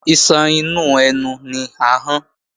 Iṣan inú ẹnu ni ahọ́n